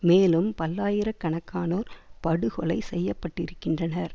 மேலும் பல்லாயிர கணக்கானோர் படுகொலை செய்யப்பட்டிருக்கின்றனர்